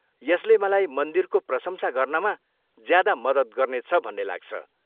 यसले मलाई मन्दिरको प्रशंसा गर्नमा ज्यादा मद्दत गर्नेछ भन्ने लाग्छ।